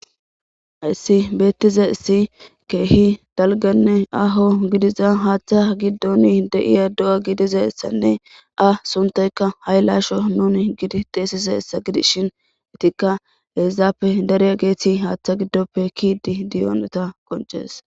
Hayssi beettize issi keehi dalganne aho gidiza haaththa giddoni de7iya do'a gidizassanne a suntayka haylaasho nuni gidi xeesizayssa gidishin itikka heezaappe dariya geethi haaththa giddoppe kiidi diyoneta qoncees.